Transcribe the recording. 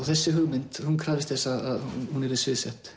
þessi hugmynd krafðist þess að hún yrði